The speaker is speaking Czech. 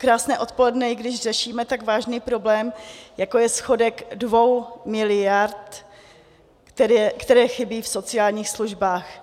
Krásné odpoledne, i když řešíme tak vážný problém, jako je schodek 2 miliard, které chybí v sociálních službách.